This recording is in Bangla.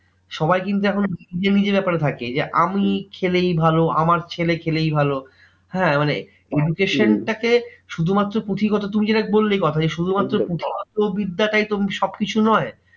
সবাই কিন্তু এখন নিজের নিজের ব্যাপারে থাকে। যে আমি খেলেই ভালো আমার ছেলে খেলেই ভালো। হ্যাঁ মানে education টা কে একদমই শুধুমাত্র পুঁথিগত, তুমি যেটা বললে কথাটা যে, শুধুমাত্র পুঁথিগত বিদ্যাটাই তো সবকিছু নয়।